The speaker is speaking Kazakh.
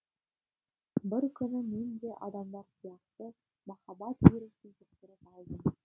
бір күні мен де адамдар сияқты махаббат вирусын жұқтырып алдым